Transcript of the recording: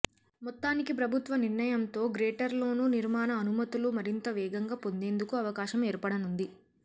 మొత్తానికి ప్రభుత్వ నిర్ణయంతో గ్రేటర్లోనూ నిర్మాణ అనుమతులు మరింత వేగంగా పోందేందుకు అవకాశం ఏర్పడనుంది